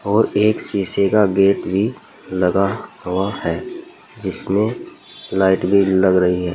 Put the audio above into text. और एक शीशे का गेट भी लगा हुआ हैं जिसमे लाइट भी लग रही है।